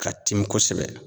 Ka timi kosɛbɛ